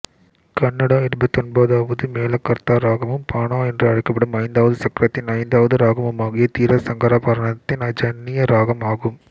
கன்னடா இருபத்தொன்பதாவது மேளகர்த்தா இராகமும் பாண என்று அழைக்கப்படும் ஐந்தாவது சக்கரத்தின் ஐந்தாவது இராகமுமாகிய தீரசங்கராபரணத்தின் ஜன்னிய இராகம் ஆகும்